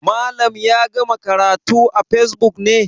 Malam ya gama karatu a facebook ne?